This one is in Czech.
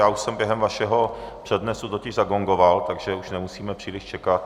Já už jsem během vašeho přednesu totiž zagongoval, takže už nemusíme příliš čekat.